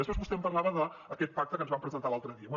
després vostè em parlava d’aquest pacte que ens van presentar l’altre dia